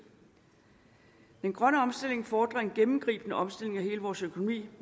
den grønne omstilling fordrer en gennemgribende omstilling af hele vores økonomi af